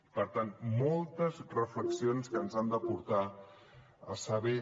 i per tant moltes reflexions que ens han de portar a saber